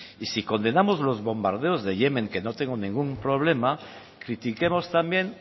y si condenamos los bombardeos de yemen que no tengo ningún problema critiquemos también